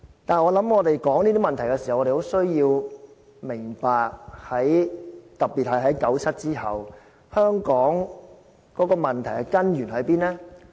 但是，我想我們說這些問題的時候，需要明白，特別是在九七之後，香港問題的根源在哪裏？